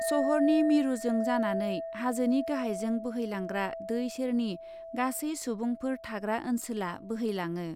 शहरनि मिरुजों जानानै हाजोनि गाहायजों बोहैलांग्रा दै सेरनि गासै सुबुंफोर थाग्रा ओन्सोला बोहैलाङो ।